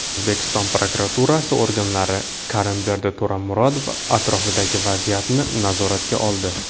O‘zbekiston prokuratura organlari Karimberdi To‘ramurod atrofidagi vaziyatni nazoratga oldi.